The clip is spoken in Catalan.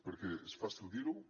perquè és fàcil dir ho